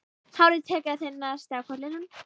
Hárið tekið að þynnast á kollinum.